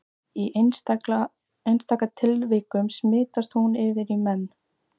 Í einstaka tilfellum smitast hún yfir í menn.